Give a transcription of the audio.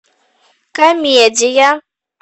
комедия